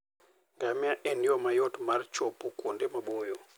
Ngamia en yo mayot mar chopo kuonde maboyo.